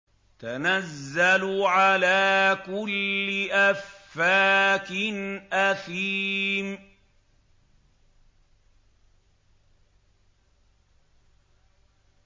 تَنَزَّلُ عَلَىٰ كُلِّ أَفَّاكٍ أَثِيمٍ